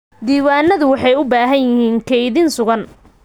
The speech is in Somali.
Diiwaanadu waxay u baahan yihiin kaydin sugan.